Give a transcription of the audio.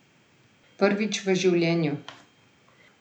Prvič v življenju.